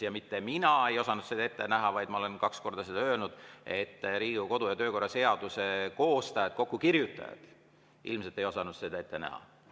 Ja mitte mina ei osanud seda ette näha, vaid ma olen kaks korda öelnud, et Riigikogu kodu‑ ja töökorra seaduse koostajad, kokkukirjutajad, ei osanud seda ilmselt ette näha.